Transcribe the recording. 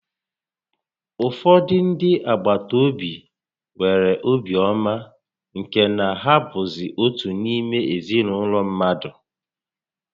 Ụfọdụ ndị agbataobi nwere obi ọma nke na ha bụzị otu n'ime ezinaụlọ mmadụ